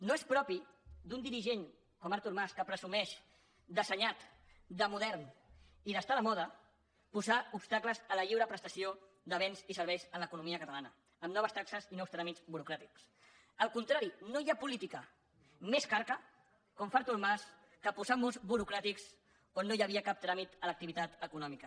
no és propi d’un dirigent com artur mas que presumeix d’assenyat de modern i d’estar a la moda posar obstacles a la lliure prestació de béns i serveis a l’economia catalana amb noves taxes i nous tràmits burocràtics al contrari no hi ha política més carca com fa artur mas que posar murs burocràtics on no hi havia cap tràmit a l’activitat econòmica